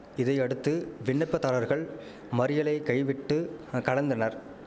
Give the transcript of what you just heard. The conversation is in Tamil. இதையடுத்து விண்ணப்பதாரர்கள் மறியலை கைவிட்டு கடந்தனர்